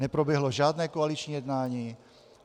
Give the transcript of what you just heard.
Neproběhlo žádné koaliční jednání.